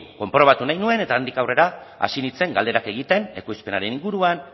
konprobatu nahi nuen eta handik aurrera hasi nintzen galdera egiten ekoizpenaren inguruan